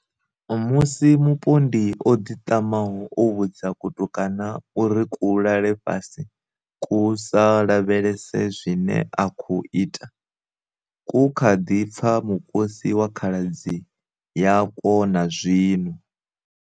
Musi mupondi o ḓiṱamaho o vhudza kutukana uri ku lale fhasi ku sa lavhelese zwine a khou ita, ku kha ḓi pfa mukosi wa khaladzi yakwo na zwino.